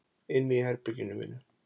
Inni í herberginu mínu.